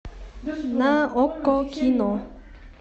на окко кино